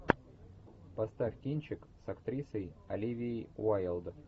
поставь кинчик с актрисой оливией уайлд